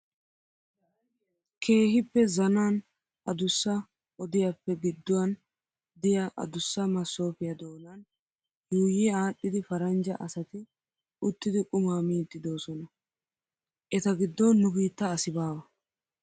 Keehippe zanan adussa odiyappe gidduwan diyaa adussa masoopiyaa doonan yuuyi adhdhidi paranjja asati uttidi qumaa miiddi doosna. Eta giddon nu biitta asi baawa.